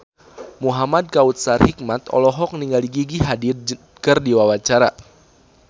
Muhamad Kautsar Hikmat olohok ningali Gigi Hadid keur diwawancara